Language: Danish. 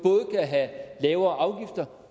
have lavere